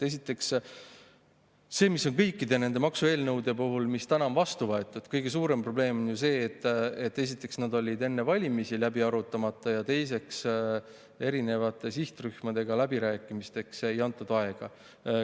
Esiteks, kõikide nende maksueelnõude puhul, mis täna on vastu võetud, on kõige suurem probleem see, et esiteks olid nad enne valimisi läbi arutamata, ja teiseks, erinevate sihtrühmadega läbirääkimisteks ei antud aega.